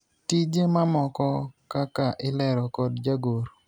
tije mamoko kaka ilero kod jagoro